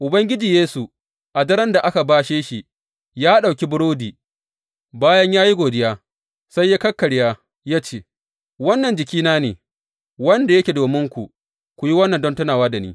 Ubangiji Yesu, a daren da aka bashe shi, ya ɗauki burodi, bayan ya yi godiya, sai ya kakkarya ya ce, Wannan jikina ne, wanda yake dominku, ku yi wannan don tunawa da ni.